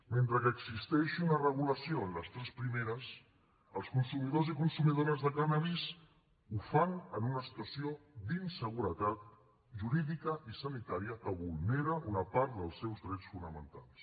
mentre que existeix una regulació en les tres primeres els consumidors i consumidores de cànnabis ho fan en una situació d’inseguretat jurídica i sanitària que vulnera una part dels seus drets fonamentals